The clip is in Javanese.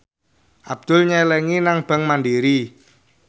Abdul nyelengi nang bank mandiri